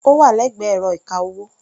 Ó wà lẹ́gbẹ̀ẹ́ ẹ̀rọ ìka-owó.